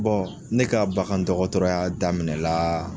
ne ka bagandɔkɔtɔrɔya daminɛ la